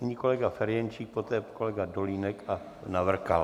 Nyní kolega Ferjenčík, poté kolega Dolínek a Navrkal.